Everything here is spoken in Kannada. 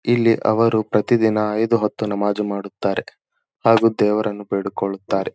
ಇಲ್ಲಿ ಅವರು ಪ್ರತಿದಿನ ಐದು ಹೊತ್ತು ನಮಾಜ್ ಮಾಡುತ್ತಾರೆ ಹಾಗು ದೇವರನ್ನು ಬೇಡಿಕೊಳ್ಳುತ್ತಾರೆ.